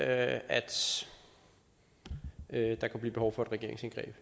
at at der kunne blive behov for et regeringsindgreb